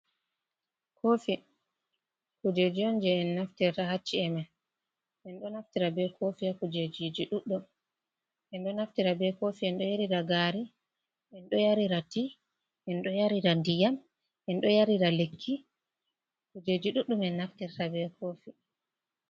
Kofi kujeji on je en naftirta ha chi'e men, enɗo naftira be kofi ha kujeji ɗuɗɗum enɗo naftira be kofi enɗo yarira gari, enɗo yarira ti, enɗo yarira ndiyam enɗo yarira lekki, kujeji duɗɗum en naftirta be kofi.